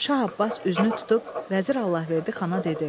Şah Abbas üzünü tutub Vəzir Allahverdi xana dedi: